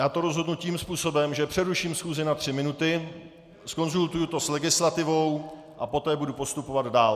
Já to rozhodnu tím způsobem, že přeruším schůzi na tři minuty, zkonzultuji to s legislativou a poté budu postupovat dál.